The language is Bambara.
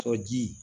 Sɔ jii